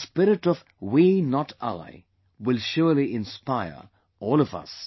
This spirit of 'We, not I' will surely inspire all of us